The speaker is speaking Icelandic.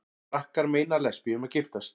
Frakkar meina lesbíum að giftast